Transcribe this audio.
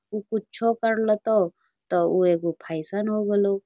उ कुछो कर लतो तो ऊ एगो फैशन हो गलो।